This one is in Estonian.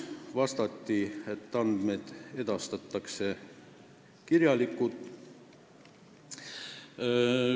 Vastati, et andmed edastatakse kirjalikult.